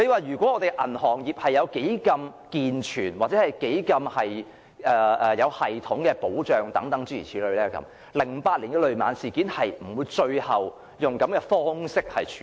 如果本港的銀行業能提供健全或有系統的保障 ，2008 年的雷曼事件最終便不會以這樣的方式處理。